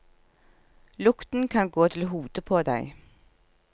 Lukten kan gå til hodet på deg.